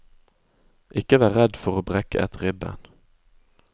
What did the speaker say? Ikke vær redd for å brekke et ribben.